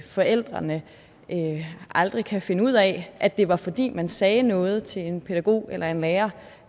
forældrene aldrig kan finde ud af at det var fordi man sagde noget til en pædagog eller en lærer